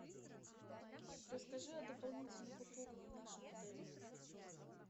расскажи о дополнительных услугах в нашем отеле